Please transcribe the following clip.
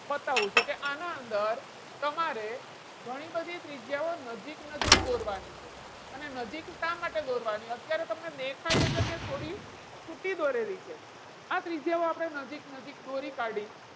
બતાવું છું કે આના અંદર તમારે ઘણી બધી ત્રિજ્યાઓ નજીક નજીક દોરવાની છે. અને નજીક શા માટે દોરવાની છે. અત્યારે તમને દેખાય એ તમે છોડી છૂટી દોરેલી છે. આ ત્રિજ્યાઓ આપણે નજીક નજીક દોરી કાઢી.